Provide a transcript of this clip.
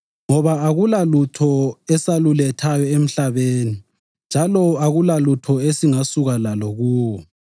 Ngoba akulalutho esalulethayo emhlabeni njalo akulalutho esingasuka lalo kuwo.